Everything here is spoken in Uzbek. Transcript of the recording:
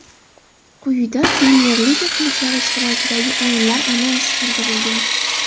Quyida Premyer-liga klublari ishtirokidagi o‘yinlar anonsi keltirilgan.